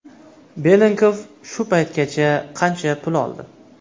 Belenkov shu paytgacha qancha pul oldi?